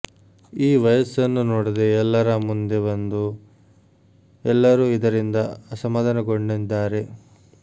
ಈ ವಯಸ್ಸನ್ನು ನೋಡದೆ ಎಲ್ಲರ ಮುಂದೆ ಬಂದು ಎಲ್ಲರೂ ಇದರಿಂದ ಅಸಮಾಧಾನಗೊಂಡಿದ್ದಾರೆ